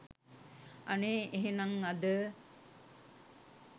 අනේ එහෙනං අද